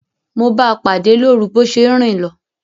Mo báa pàdé lórun bo se n rin lo